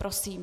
Prosím.